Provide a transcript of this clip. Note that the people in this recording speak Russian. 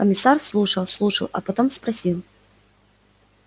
комиссар слушал слушал а потом спросил